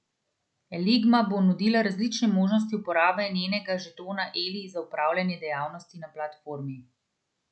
Eligma bo nudila različne možnosti uporabe njenega žetona Eli za opravljanje dejavnosti na platformi.